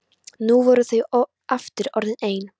Nú voru þau aftur orðin ein.